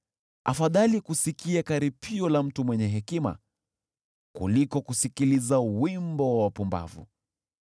Afadhali kusikia karipio la mtu mwenye hekima, kuliko kusikiliza wimbo wa wapumbavu.